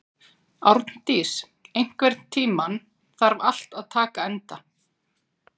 Árndís, einhvern tímann þarf allt að taka enda.